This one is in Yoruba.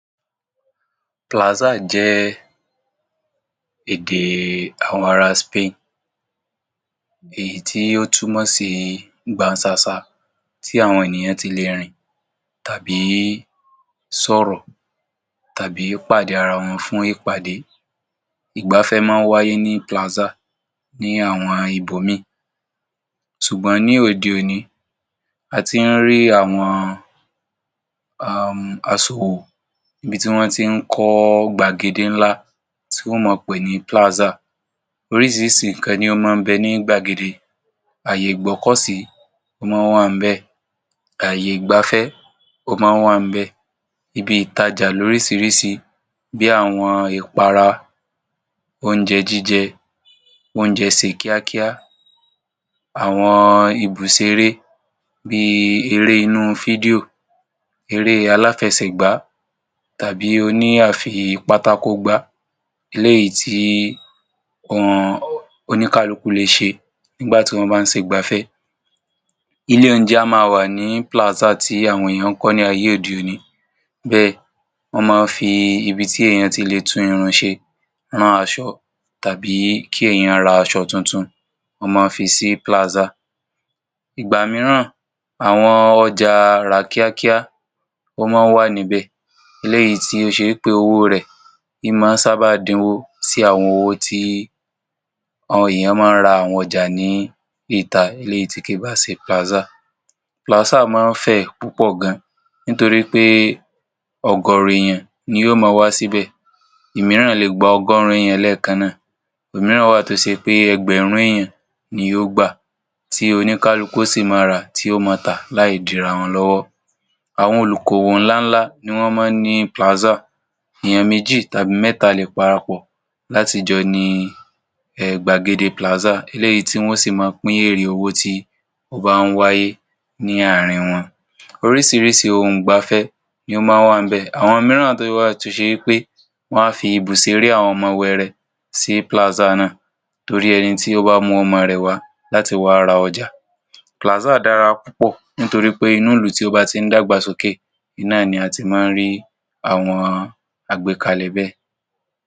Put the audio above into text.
Plaza jẹ èdè àwọn ará Spain, èyí tí ó túmọ̀ sí ìgbà sasa tí àwọn ènìyàn ti lè rìn, tàbí sọ ọ̀rọ̀, tàbí pàdé ara wọn fún ìpàdé. Ìgbàfẹ́ máa ń wáyé ní Plaza ní àwọn ìbò mí. Ṣùgbọ́n ní òde òní, a ti ń rí àwọn, aṣọwo, ibi tí wọ́n ti ń kọ gbàgèdè ńlá tí wọ́n mọ̀ pé ní Plaza. Orísìírísìí nkan ni ọ́n máa ń bẹ ní gbàgèdè. Ààyè ìgbọ́kọ́sì ò máa wà ní bẹ̀, ààyè ìgbàfẹ́ ò máa wà ní bẹ̀, ibi ìtajà lórísìírísìí bí àwọn ìpàrà oúnjẹ jíjẹ, oúnjẹ see kíákíá, àwọn ìbùsè eré bí eré inú fídíò, eré aláfẹ́sẹ̀gbá tàbí oní àfípátákógbá, eléyìí tí wọ́n oníkálùkù lè ṣe nígbàtí wọ́n bá sì gbàfẹ́. Ilé oúnjẹ a máa wà ní Plaza tí àwọn ènìyàn kan ní ààyè òdì òní. Bẹ́ẹ̀ ni wọ́n máa fi ibi tí ẹnìyàn ti lẹ́tù irunṣe, rán aṣọ, tàbí kí ẹnìyàn rà aṣọ tuntun, wọ́n máa fi sí Plaza. Ìgbà míìrán, àwọn ọjà rà kíákíá ò máa wà ní bẹ̀, eléyìí tí ó ṣe pé owó rẹ̀ ń máa sábádínwó sí àwọn owó tí àwọn ènìyàn máa rà àwọn ọjà ní ìtà, ilé yìí tí kì í bà ṣe Plaza. Plaza máa ń fẹ́ púpọ̀ gan-an torí pé ọgọ́ro ènìyàn ni yóò máa wá síbẹ̀. Ìmìràn lè gba ọgọ́rùn-ún ènìyàn lẹ́ẹ̀kan. Òmìràn wà tó ṣe pé ẹgbẹ̀rún ènìyàn ni yóò gba, tí oníkálùkù sì máa rá tí ó máa tà láìdìrà wọn lọ́wọ́. Àwọn olùkòwò ńlá ni wọ́n mọ̀ ní Plaza. Eyan méjì tàbí mẹ́ta lè pàràpọ̀ láti jọ ní gbàgèdè Plaza eléyìí tí wọ́n sì máa pín èrè owó tí ó bá ń wáyé ní àárín wọn. Orísìírísìí ohun ìgbàfẹ́ ni ó máa wà ní bẹ̀. Àwọn míìrán tó wà tó ṣe pé wọ́n a fi ìbùsè eré àwọn ọmọ ewu ẹrẹ̀ sí Plaza náà torí ẹni tí ó bá mú ọmọ rẹ̀ wá láti wá rà ọjà. Plaza dára púpọ̀ nítorí pé inú ilu tí ó bá ti ń dágbàsókè, iná ni, a ti máa ń rí àwọn àgbékàlé bẹ́ẹ̀.